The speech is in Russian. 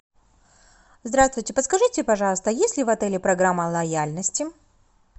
здравствуйте подскажите пожалуйста есть ли в отеле программа лояльности